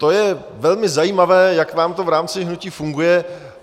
To je velmi zajímavé, jak vám to v rámci hnutí funguje.